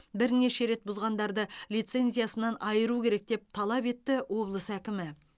бірнеше рет бұзғандарды лицензиясынан айыру керек деп талап етті облыс әкімі